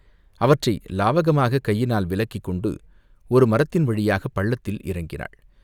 அவற்றை லாவகமாகக் கையினால் விலக்கிக்கொண்டு ஒரு மரத்தின் வழியாகப் பள்ளத்தில் இறங்கினாள்.